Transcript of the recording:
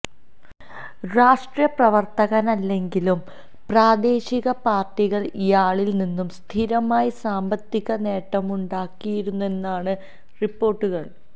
രാഷ്ട്രീയ പ്രവര്ത്തകനല്ലെങ്കിലും പ്രാദേശിക പാര്ട്ടികൾ ഇയാളിൽ നിന്ന് സ്ഥിരമായി സാമ്പത്തിക നേട്ടമുണ്ടാക്കിയിരുന്നെന്നാണ് റിപ്പോര്ട്ടുകള്